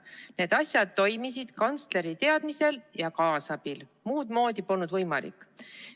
Need asjad toimusid kantsleri teadmisel ja kaasabil, muud moodi polnud võimalik.